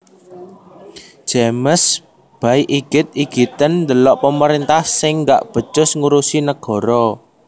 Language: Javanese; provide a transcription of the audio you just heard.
James Bay igit igiten ndelok pemerintah sing gak becus ngurusi negara